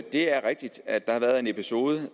er rigtigt at der har været en episode